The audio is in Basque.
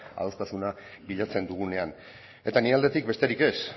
adostasuna bilatzen dugunean eta nire aldetik besterik ez